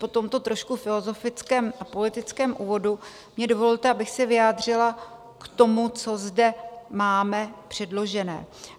Po tomto trošku filozofickém a politickém úvodu mně dovolte, abych se vyjádřila k tomu, co zde máme předložené.